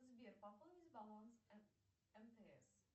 сбер пополнить баланс мтс